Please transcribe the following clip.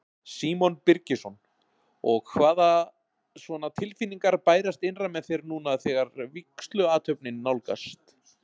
Símon Birgisson: Og hvaða svona tilfinningar bærast innra með þér núna þegar vígsluathöfnin nálgast?